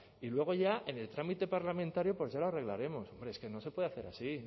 y tal y luego ya en el trámite parlamentario pues ya lo arreglaremos hombre es que no se puede hacer así